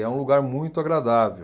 E é um lugar muito agradável.